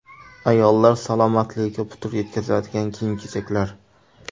Ayollar salomatligiga putur yetkazadigan kiyim-kechaklar.